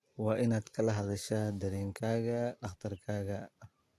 Waa inaad kala hadashaa dareenkaaga dhakhtarkaaga.